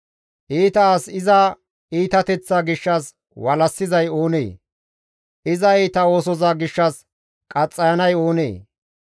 Iita as iza iitateththaa gishshas walassizay oonee? Iza iita oosoza gishshas iza qaxxayanay oonee?